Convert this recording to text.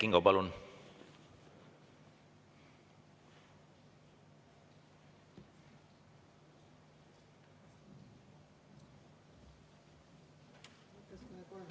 Kert Kingo, palun!